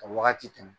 Ka wagati tɛmɛ